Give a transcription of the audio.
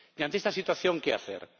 Y ante esta situación, ¿qué hacer?